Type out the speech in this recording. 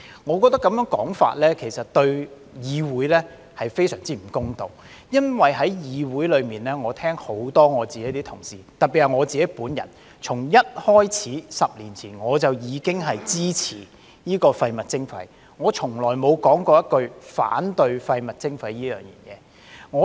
我認為這種說法對議會是相當不公道的，因為在議會中，我聽到很多同事，特別是我本人從一開始，早在10年前我已經支持廢物徵費，我從來沒有說過反對廢物徵費。